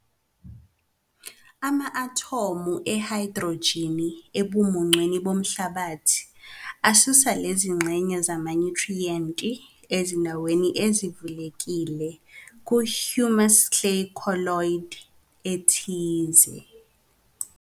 Ama-athomu ehayidrojini ebumuncwini bomhlabathi asusa lezingxenye zamanyuthriyenti ezindaweni ezivulekile kuhumus clay colloid ethize.